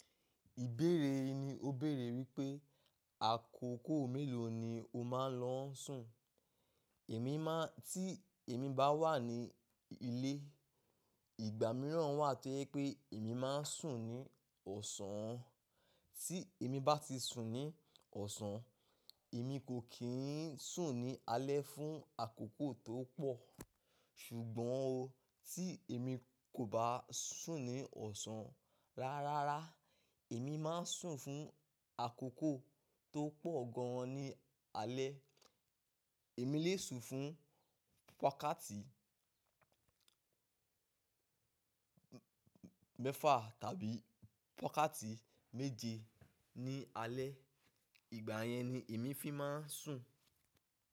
Ìbéèrè yí ni ó béèrè wípé, àkókò mélòó ni o máa ń lọ sùn? Èmi máa ń tí èmi bá wà ní ilé, ìgbà mìíràn wà tí pé èmi máa ń sùn ní ọ̀sán. Tí èmi bá ti sùn ní ọ̀sán, èmi kò kí ń sùn ní alẹ́ fún àkókò tó pọ̀. Ṣùgbọ́n o, tí èmi kò bá sùn ní ọ̀sán ráárá, èmi máa ń sùn fún àkókò tó pọ̀ gan an ní alẹ́. Èmi lè sùn fún wákátì mẹ́fà tàbí wákátì méje ní alẹ́. Ìgbà yẹn ni èmi fi máa ń sùn.